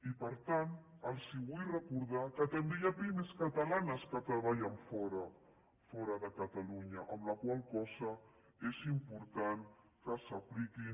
i per tant els vull recordar que també hi ha pimes catalanes que treballen fora de catalunya amb la qual cosa és important que s’apliquin